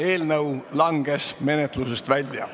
Eelnõu langes menetlusest välja.